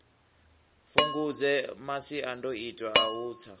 fhungudze masiandoitwa a u tsa